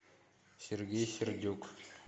сергей сердюк